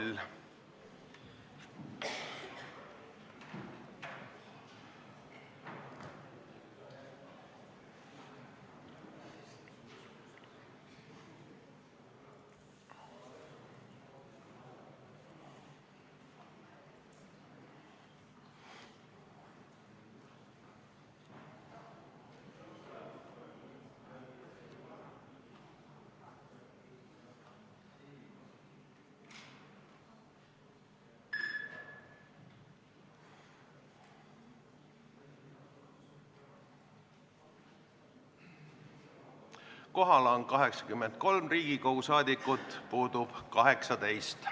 Kohaloleku kontroll Kohal on 83 Riigikogu liiget, puudub 18.